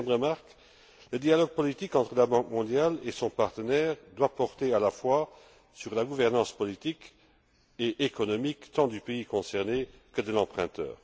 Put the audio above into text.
Deuxièmement, le dialogue politique entre la Banque mondiale et son partenaire doit porter à la fois sur la gouvernance politique et économique tant du pays concerné que de l'emprunteur.